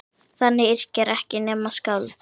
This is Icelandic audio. Þannig yrkja ekki nema skáld!